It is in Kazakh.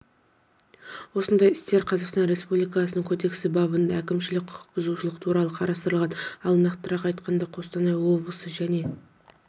осындай істер қазақстан республикасының кодексі бабында әкімшілік құқықбұзушылықтар туралы қарастырлған ал нақтырақ айтқанда қостанай облысы және